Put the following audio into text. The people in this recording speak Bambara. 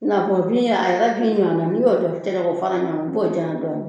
I n'a fɔ bin a yɛrɛ bin ɲɔgɔnna ni y'o cɛ ka fara ɲɔgɔn kan i b'o janya dɔɔnin